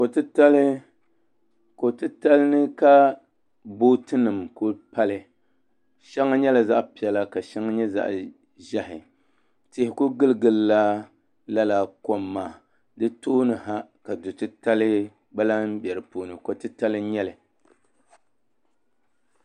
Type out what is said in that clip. Ko titali ni ka booti nim kuli pali shɛŋa nyɛla zaɣ piɛla ka shɛŋa nyɛ zaɣ ʒiɛhi tihi ku gili gilla laa kom maa di tooni ha ka kotitali gba lahi bɛ di puuni